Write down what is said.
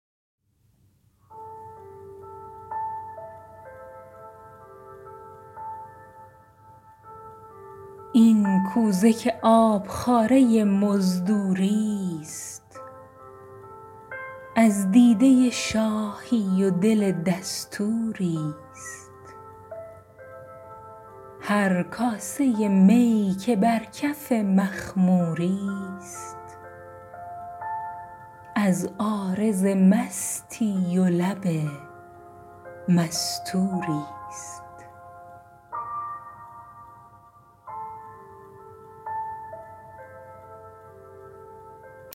این کوزه که آبخواره مزدوری ست از دیده شاهی و دل دستوری ست هر کاسه می که بر کف مخموری ست از عارض مستی و لب مستوری ست